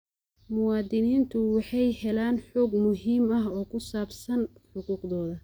Muwaadiniintu waxay helaan xog muhiim ah oo ku saabsan xuquuqdooda.